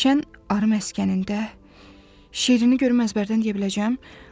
Şən arı məskənində şeirini görürəm, əzbərdən deyə biləcəm.